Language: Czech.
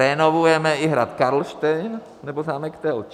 Renovujeme i hrad Karlštejn nebo zámek Telč.